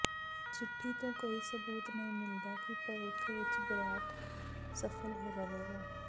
ਚਿੱਠੀ ਤੋਂ ਕੋਈ ਸਬੂਤ ਨਹੀਂ ਮਿਲਦਾ ਕਿ ਭਵਿੱਖ ਵਿੱਚ ਬਰੈਟ ਸਫਲ ਰਹੇਗਾ